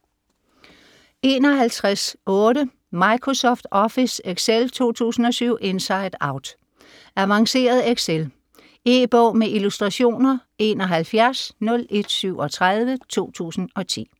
51.8 Microsoft Office Excel 2007 inside out Avanceret excel. E-bog med illustrationer 710137 2010.